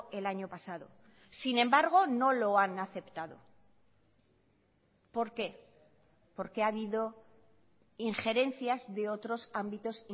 el año pasado sin embargo no lo han aceptado por qué porque ha habido injerencias de otros ámbitos